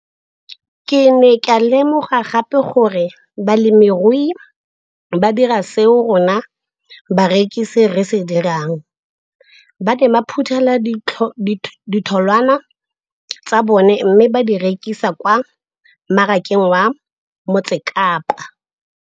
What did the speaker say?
Ke ne ka lemoga gape gore balemirui ba dira seo rona barekisi re se dirang - ba ne ba phuthela ditholwana tsa bona mme ba di rekisa kwa marakeng wa Motsekapa.